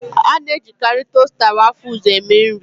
A na-ejikarị tosta wafụls eme nri